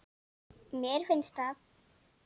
Mér finnst það.